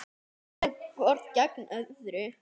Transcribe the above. Þau sitja hvort gegnt öðru.